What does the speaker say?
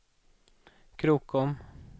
Krokom